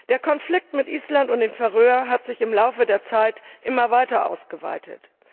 Der Konflikt mit Island und den Färöer Inseln hat sich im Laufe der Zeit immer stärker ausgeweitet.